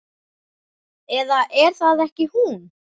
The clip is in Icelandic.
Eða er það ekki hún?